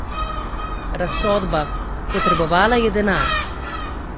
Razsodba: "Potrebovala je denar.